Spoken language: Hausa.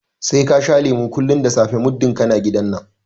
Sai ka sha lemu kullum da safe muddin kana gidan nan!